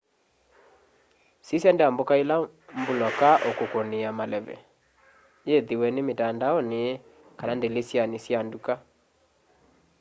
sisya ndambuka ila mbuloka ukukunia maleve yithiwe ni mitandaoni kana ndilisyani ya nduka